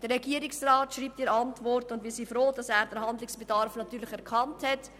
Wir sind froh, dass der Regierungsrat den Handlungsbedarf erkannt hat.